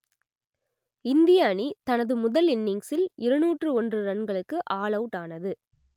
இந்திய அணி தனது முதல் இன்னிங்ஸில் இருநூற்று ஒன்று ரன்களுக்கு ஆல் அவுட் ஆனது